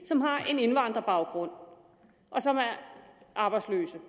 som har en indvandrerbaggrund og som er arbejdsløse